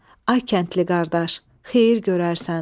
Ay kəndli qardaş, xeyir görərsən.